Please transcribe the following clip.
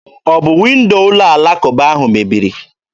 Ọ bụ windo ụlọ alakụba ahụ mebiri?